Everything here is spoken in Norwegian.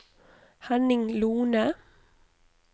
Henning Lohne